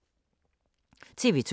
TV 2